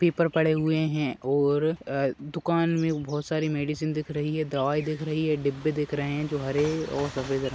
paper पड़े हुए हैं और दुकान में बहुत सारी मेडिसीन दिख रही है दवाई दिख रही है डिब्बे दिख रहे हैं जो हरे और सफेद रंग --